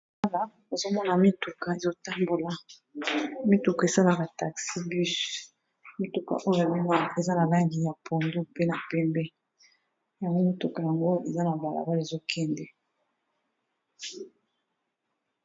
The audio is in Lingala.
Awa ozo mona mituka ezo tambola mituka esalaka taxi bus, mituka oyo mimwa eza na langi ya pondu mpe na pembe. Yango mituka yango eza na bala bala ezo kende.